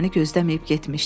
Məni gözləməyib getmişdi.